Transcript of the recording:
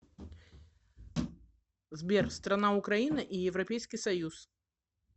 сбер страна украина и европейский союз